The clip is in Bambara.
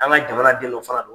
An ka jamana den do fana